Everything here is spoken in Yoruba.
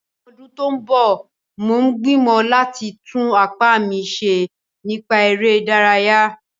Ní ọdún tó ń bọ̀, mo gbìmọ̀ láti tún apá mi ṣe nípa eré ìdárayá